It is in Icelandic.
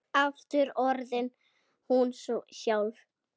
Aftur orðin hún sjálf.